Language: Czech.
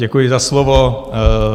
Děkuji za slovo.